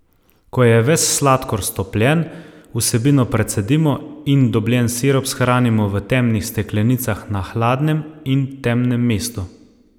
Ko je ves sladkor stopljen, vsebino precedimo in dobljen sirup shranimo v temnih steklenicah na hladnem in temnem mestu.